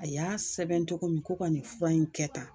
A y'a sɛbɛn cogo min ko ka nin fura in kɛ tan